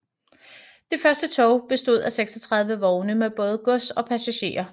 Det første tog bestod af 36 vogne med både gods og passagerer